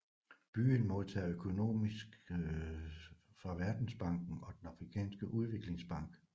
Byen modtager økonomisk fra Verdensbanken og den Afrikanske Udviklingsbank